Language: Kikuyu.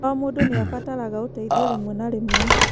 O mũndũ nĩ abataraga ũteithio rĩmwe na rĩmwe.